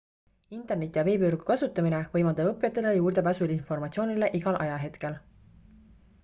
interneti ja veebivõrgu kasutamine võimaldab õppijatele juurdepääsu informatsioonile igal ajahetkel